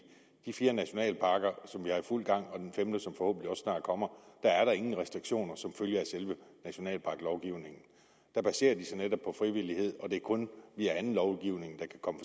de fire nationalparker som er i fuld gang og den femte som forhåbentlig snart kommer er der ingen restriktioner som følge af selve nationalparklovgivningen den baserer sig netop på frivillighed og det er kun via anden lovgivning der kan komme